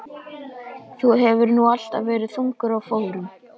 Þú hefur nú alltaf verið þungur á fóðrum.